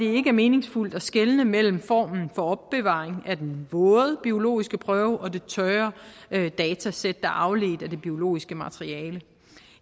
er meningsfuldt at skelne mellem formen for opbevaring af den våde biologiske prøve og det tørre datasæt er afledt af det biologiske materiale